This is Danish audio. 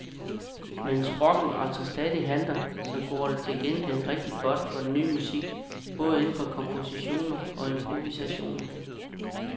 Mens rocken altså stadig halter, så går det til gengæld rigtigt godt for den ny musik, både inden for komposition og improvisation.